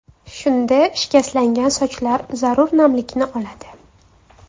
Shunda shikastlangan sochlar zarur namlikni oladi.